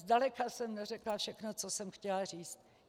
Zdaleka jsem neřekla všechno, co jsem chtěla říct.